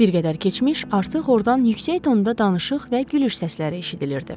Bir qədər keçmiş artıq ordan yüksək tonda danışıq və gülüş səsləri eşidilirdi.